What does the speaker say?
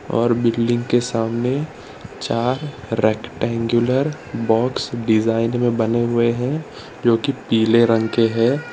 और बिल्डिंग के सामने चार रेक्टएंगुलर बॉक्स डिजाइन में बने हुए हैं जोकि पीले रंग के हैं।